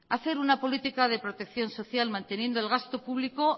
hacer una política de protección social manteniendo el gasto público